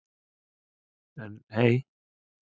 En hey.